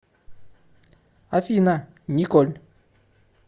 афина николь